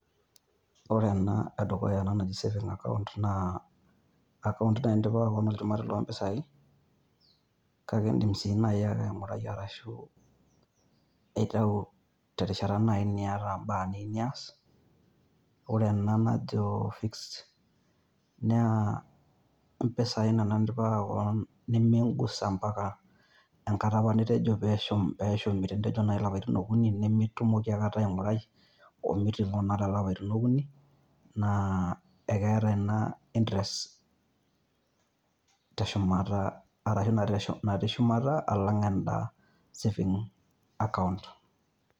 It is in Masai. Ore naa edukuya naa eji savings account naa account naindipa kuna iljumari loo pesaai, kaake indiim sii naai aingurai arashu aitau terishatta naai niata imbaa nias. Ore ena naajo fixed naa pesaai nimingusa mpaka enkata apa nitejo pee eshumi te ne olapaitin le kuni , naa mitumoki ata aingurai ooh mitingo olapaitin okuni. Naa ekeataa ena interest te shumata arashu naa te ne shumata elang enda savings account